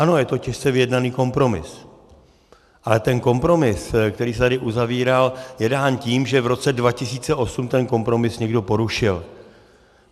Ano, je to těžce vyjednaný kompromis, ale ten kompromis, který se tady uzavíral, je dán tím, že v roce 2008 ten kompromis někdo porušil.